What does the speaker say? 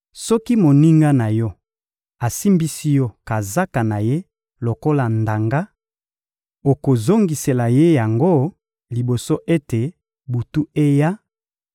Soki moninga na yo asimbisi yo kazaka na ye lokola ndanga, okozongisela ye yango liboso ete butu eya;